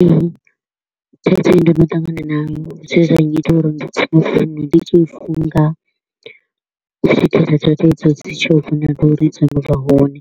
Ee, thaidzo i ndo no ṱangana nayo, zwe zwa nnyita uri ndi tsime founu ndi tshi i funga u swikela data idzo dzi tshi uri dzo no vha hone.